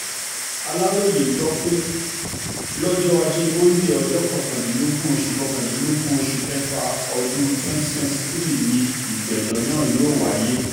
aláròye gbọ́ pé lọ́jọ́ ajé monde ọjọ́ kọkàndínlógún oṣù kọkàndínlógún oṣù kẹfà ọdún twenty twenty three yìí ni ìgbẹ́jọ́ náà wáyé